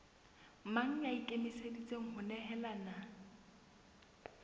mang ya ikemiseditseng ho nehelana